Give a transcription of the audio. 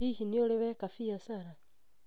Hihi nĩ ũrĩ weka biacara